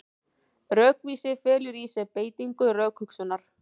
Rökvísi felur í sér beitingu rökhugsunar.